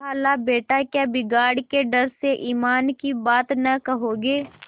खालाबेटा क्या बिगाड़ के डर से ईमान की बात न कहोगे